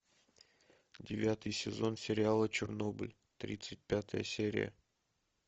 девятый сезон сериала чернобыль тридцать пятая серия